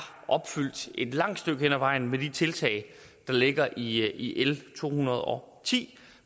opfyldt et langt stykke hen ad vejen med de tiltag der ligger i i l to hundrede og ti